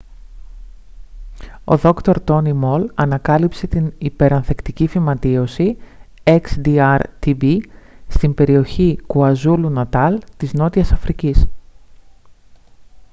ο δρ. τόνι μολ ανακάλυψε την υπερανθεκτική φυματίωση xdr-tb στην περιοχή κουαζούλου-νατάλ της νότιας αφρικής